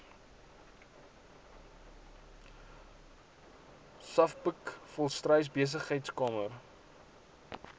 savbk volstruis besigheidskamer